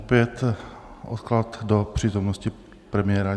Opět odklad do přítomnosti premiéra.